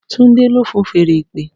Tunde le fun fèèrè ìpè?